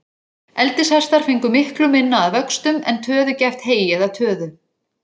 Eldishestar fengu miklu minna að vöxtum, en töðugæft hey eða töðu.